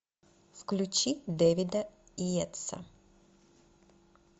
включи дэвида йейтса